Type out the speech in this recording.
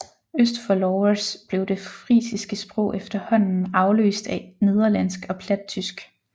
Øst for Lauwers blev det frisiske sprog efterhånden afløst af nederlandsk og plattysk